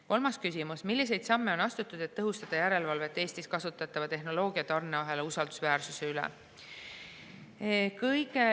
Kolmas küsimus: "Milliseid samme on astutud, et tõhustada järelevalvet Eestis kasutatava tehnoloogia ja tarneahela usaldusväärsuse üle?